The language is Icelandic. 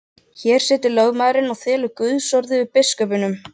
Hér situr lögmaðurinn og þylur Guðsorð yfir biskupnum.